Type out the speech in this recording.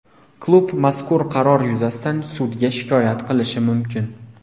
Klub mazkur qaror yuzasidan sudga shikoyat qilishi mumkin.